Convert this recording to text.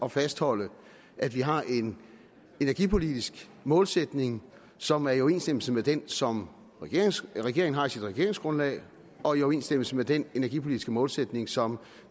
at fastholde at vi har en energipolitisk målsætning som er i overensstemmelse med den som regeringen har i sit regeringsgrundlag og i overensstemmelse med den energipolitiske målsætning som